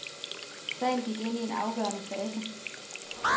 Sagen gik ind i en afgørende fase.